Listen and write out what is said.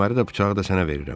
Kəməri də, bıçağı da sənə verirəm.